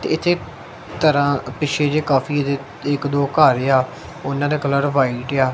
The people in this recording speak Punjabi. ਇਥੇ ਤਰਾਂ ਪਿੱਛੇ ਜੇ ਕਾਫੀ ਇਕ ਦੋ ਘਰ ਆ ਉਹਨਾਂ ਦਾ ਕਲਰ ਵਾਈਟ ਆ।